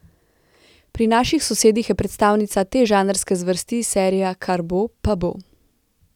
Pri naših sosedih je predstavnica te žanrske zvrsti serija Kar bo, pa bo.